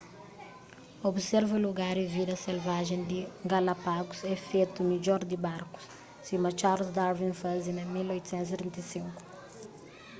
observa lugar y vida selvajen di galápagos é fetu midjor di barku sima charles darwin faze na 1835